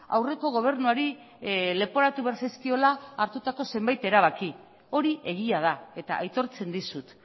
aurreko gobernuari leporatu behar zaizkiola hartutako zenbait erabaki hori egia da eta aitortzen dizut